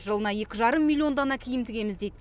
жылына екі жарым миллион дана киім тігеміз дейді